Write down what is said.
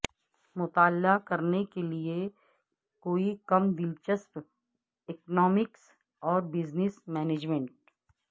مطالعہ کرنے کے لئے کوئی کم دلچسپ اکنامکس اور بزنس مینجمنٹ